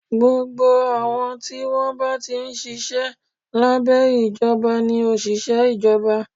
Gbogbo àwọn tí wọ́n bá ti ń ṣiṣẹ́ lábẹ́ ìjọba ni òṣìṣẹ́ Ìjọba